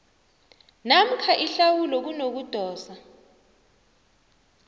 namkha ihlawulo kunokudosa